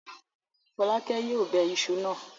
Fọ́lákẹ́ yóò bẹ iṣu náà.